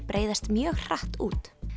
breiðast mjög hratt út